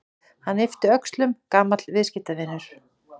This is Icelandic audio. Hann yppti öxlum: Gamall viðskiptavinur.